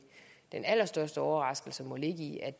den allerstørste overraskelse må ligge i at